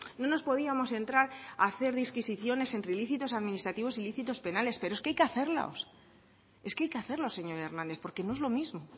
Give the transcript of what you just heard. no nos podíamos entrar a hacer disquisiciones entre ilícitos administrativo e ilícitos penales pero es que hay que hacerlos es que hay que hacerlos señor hernández porque no es lo mismo